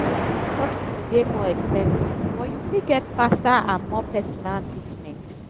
private hospital dey more expensive but you fit get faster and more personal treatment